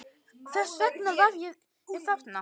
Þess vegna var ég þarna.